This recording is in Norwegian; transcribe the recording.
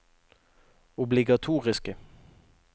obligatoriske